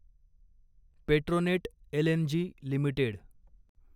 Petronet LNG limited